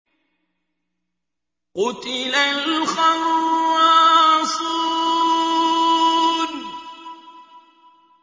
قُتِلَ الْخَرَّاصُونَ